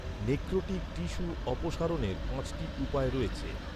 Necrotic tissue অপসারণের পাঁচটি উপায় রয়েছে।